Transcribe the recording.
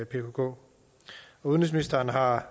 pkk udenrigsministeren har